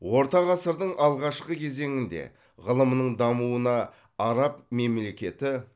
орта ғасырдың алғашқы кезеңінде ғылымның дамуына араб мемлекеті